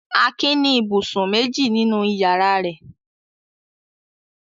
Akin ní ibùsùn méjì nínú ìyàrá rẹ̀.